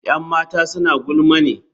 Yan matan suna gulma ne?